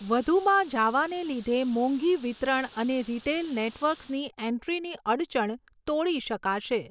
વધુમાં જાવાને લીધે મોંઘી વિતરણ અને રિટેલ નેટવર્કસની એન્ટ્રીની અડચણ તોડી શકાશે.